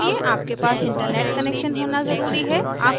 इस ट्यूटोरियल के अनुकरण के लिए आपके पास इंटनेट कनैक्शन होना ज़रूरी है